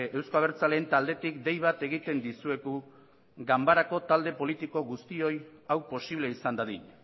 euzko abertzaleen taldetik dei bat egiten dizuegu ganbarako talde politiko guztioi hau posible izan dadin